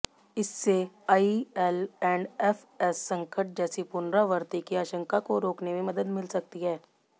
इससे आईएलऐंडएफएस संकट जैसी पुनरावृत्ति की आशंका को रोकने में मदद मिल सकती है